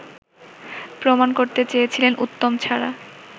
প্রমাণ করতে চেয়েছিলেন উত্তম ছাড়া